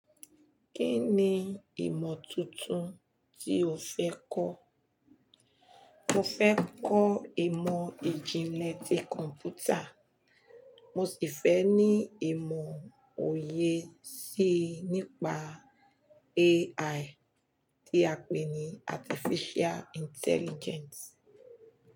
Kí ni ìmọ̀ tuntun tí o fẹ́ kọ́? Mo fẹ́ kọ́ ìmọ̀ ìjìnlẹ̀ tí kọ̀ǹpútà. Mo sì fẹ́ ní ìmọ̀ òye síi nípa AI tí a pè ní Artificial Intelligence.